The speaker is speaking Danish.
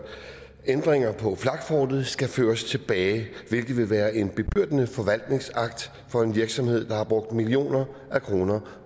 ændringer på flakfortet skal føres tilbage hvilket vil være en bebyrdende forvaltningsakt for en virksomhed der har brugt millioner af kroner